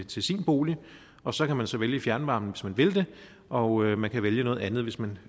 til sin bolig og så kan man så vælge fjernvarme hvis man vil det og man kan vælge noget andet hvis man